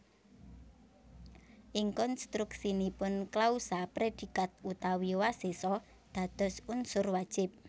Ing konstruksinipun klausa predikat utawi wasesa dados unsur wajib